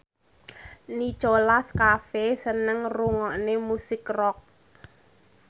Nicholas Cafe seneng ngrungokne musik rock